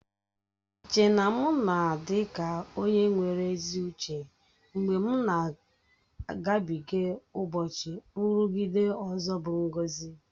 Iche na m na-adị ka onye nwere ezi uche mgbe m na-agabịge ụbọchị nrụgide ọzọ bụ ngọzi